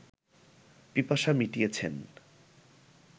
পিপাসা মিটিয়েছেন